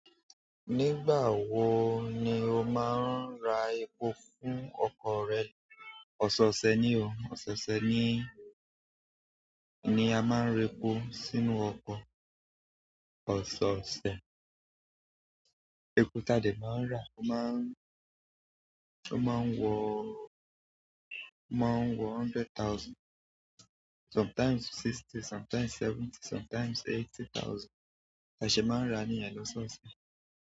Nígbà wo ni o máa ń ra epo fún ọkọ̀ rẹ? Ọ̀sọ̀ọ̀ṣẹ̀ ni o, ọ̀sọ̀ọ̀ṣẹ̀ ni, ni a máa ń ra epo sínú ọkọ̀. Ọ̀sọ̀ọ̀ṣẹ̀, epo tádẹ máa ń rà, ó má ń, ó má ń wọ, ó má ń wọ hundred thousand, sometimes sixty, sometimes seventy, sometimes eighty thousand. Tá ṣe máa ń rà níyen lọ́sọ̀ọ̀ṣẹ̀.